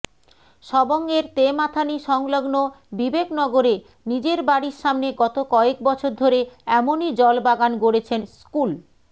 সবংয়ের তেমাথানি সংলগ্ন বিবেকনগরে নিজের বাড়ির সামনে গত কয়েক বছর ধরে এমনই জলবাগান গড়েছেন স্কুল